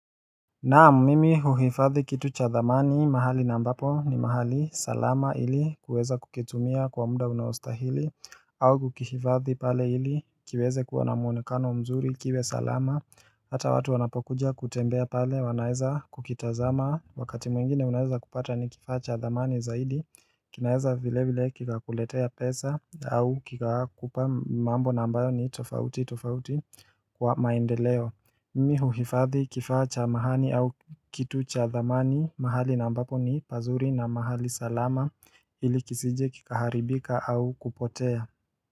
Naam mimi huhifadhi kitu cha thamani mahali na ambapo ni mahali salama ili kuweza kukitumia kwa muda unaostahili au kukifadhi pale ili kiweze kuwa na muonekano mzuri kiwe salama Hata watu wanapokuja kutembea pale wanaeza kukitazama Wakati mwingine unaeza kupata ni kifaa cha thamani zaidi kinaeza vile vile kikakuletea pesa au kikakupa mambo na ambayo ni tofauti tofauti kwa maendeleo Mmi huhifadhi kifaa cha mahani au kitu cha thamani mahali na ambapo ni pazuri na mahali salama ili kisije kikaharibika au kupotea.